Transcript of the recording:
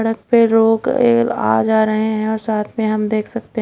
सड़क पे लोग अह जा रहे हैं और साथ में हम देख सकते--